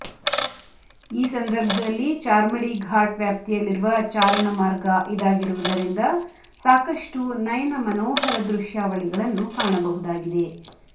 ಈ ಸಂದರ್ಭದಲ್ಲಿ ಚಾರ್ಮಡಿ ಘಾಟ್ ವ್ಯಾಪ್ತಿಯಲ್ಲಿರುವ ಚಾರಣ ಮಾರ್ಗ ಇದಾಗಿರುವುದರಿಂದ ಸಾಕಷ್ಟು ನಯನ ಮನೋಹರ ದೃಶ್ಯಾವಳಿಗಳನ್ನು ಕಾಣಬಹುದಾಗಿದೆ